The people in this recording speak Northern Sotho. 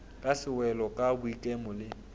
ka sewelo ka boikemo le